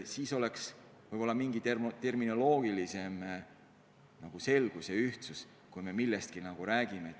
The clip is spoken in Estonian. Siis oleks võib-olla suurem terminoloogiline selgus, kui me millestki räägime.